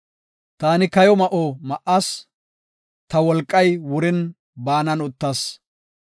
Taani kayo ma7o ma7as; ta wolqay wurin baanan uttas.